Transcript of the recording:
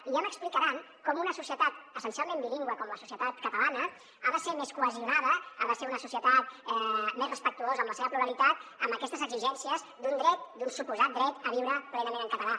i ja m’explicaran com una societat essencialment bilingüe com la societat cata·lana ha de ser més cohesionada ha de ser una societat més respectuosa amb la seva pluralitat amb aquestes exigències d’un dret d’un suposat dret a viure plenament en català